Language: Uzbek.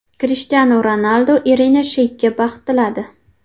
Krishtianu Ronaldu Irina Sheykga baxt tiladi.